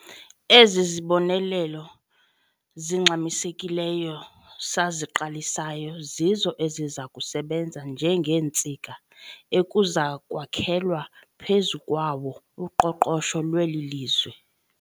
Ezi zibonelelo zingxamisekileyo saziqalisayo zizo eziza kusebenza njengeentsika ekuza kwakhelwa phezu kwawo uqoqosho lweli lizwe.